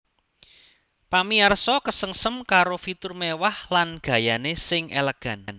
Pamiyarsa kesengsem karo fitur mewah lan gayané sing elegan